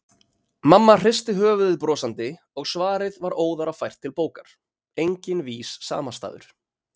Mamma hristi höfuðið brosandi og svarið var óðara fært til bókar: Enginn vís samastaður.